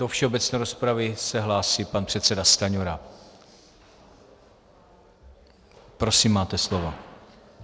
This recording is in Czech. Do všeobecné rozpravy se hlásí pan předseda Stanjura, prosím, máte slovo.